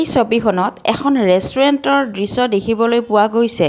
এই ছবিখনত এখন ৰেষ্টোৰেণ্টৰ দৃশ্য দেখিবলৈ পোৱা গৈছে।